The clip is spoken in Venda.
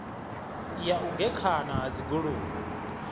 ya u gekhana ha dzigoloi